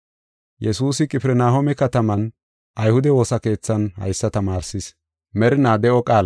Yesuusi Qifirnahooma kataman ayhude woosa keethan haysa tamaarsis.